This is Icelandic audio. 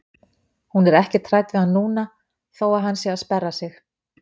Hún er ekkert hrædd við hann núna þó að hann sé að sperra sig.